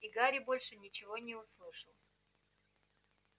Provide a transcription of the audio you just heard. и гарри больше ничего не услышал